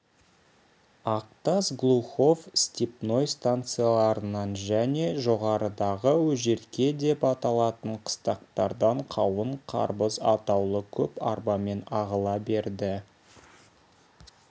ақтас глухов степной станцияларынан және жоғарыдағы өжерке деп аталатын қыстақтардан қауын қарбыз атаулы көп арбамен ағыла берді